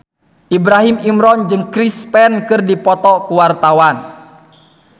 Ibrahim Imran jeung Chris Pane keur dipoto ku wartawan